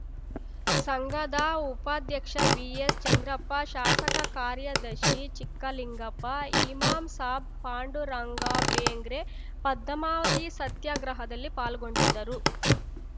ಸಂಘದ ಉಪಾಧ್ಯಕ್ಷ ಬಿಎಸ್‌ಚಂದ್ರಪ್ಪ ಶಾಸಕ ಕಾರ್ಯದರ್ಶಿ ಚಿಕ್ಕಲಿಂಗಪ್ಪ ಇಮಾಮ್‌ಸಾಬ್‌ ಪಾಂಡುರಂಗಬೆಂಗ್ರೆ ಪದ್ಮಾವತಿ ಸತ್ಯಾಗ್ರಹದಲ್ಲಿ ಪಾಲ್ಗೊಂಡಿದ್ದರು